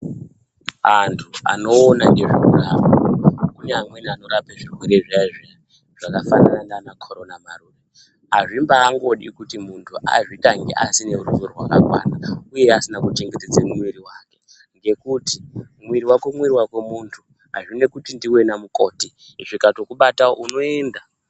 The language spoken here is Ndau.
Antu anoona nezvekurapa, kunyangwe anorapa zvirwere zviya zviya, zvakafanana naana CORONA, hazvimbangodi kuti muntu azvitange asina ruzivo rwakakwana uye asina kuchengetedze muiri wake, ngekuti muiri wako muiri wako muntu. Hazvina kuti ndiwe namukoti, zvikatokubatawo unoinda.